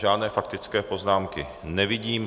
Žádné faktické poznámky nevidím.